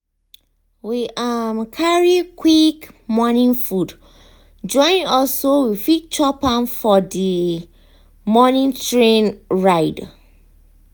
we um carry quick morning food join us so we fit chop am for the um morning train ride.